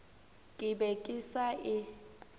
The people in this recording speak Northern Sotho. ke be ke sa e